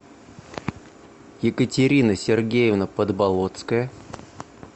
екатерина сергеевна подболотская